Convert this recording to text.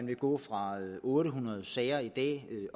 vil gå fra otte hundrede sager i